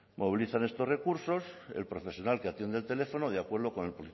movilizan estos recursos el profesional que atiende el teléfono de acuerdo con el